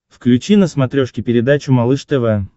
включи на смотрешке передачу малыш тв